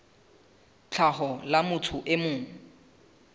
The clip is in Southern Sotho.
tlhaho la motho e mong